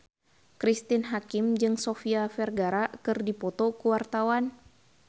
Cristine Hakim jeung Sofia Vergara keur dipoto ku wartawan